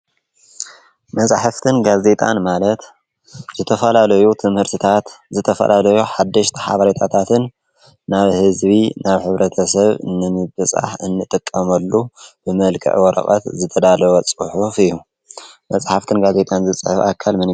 መፃሕፍትን ጋዜጣን ማለት ዝተፈላለዩ ትምህርትታት ዝተፈላለዩ ሓደሽቲ ሓበሬታታትን ናብ ህዝቢ ናብ ሕብረተሰብ ንምብፃሕ እንጥቀመሉ ብመልክዕ ወረቀት ዝተዳለወ ፅሑፍ እዩ፡፡ መፃሕፍትን ጋዜጣን ዝፅሕፍ ኣካል መን እዩ?